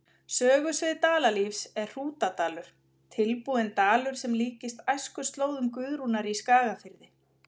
Sögusvið Dalalífs er Hrútadalur, tilbúinn dalur sem líkist æskuslóðum Guðrúnar í Skagafirði.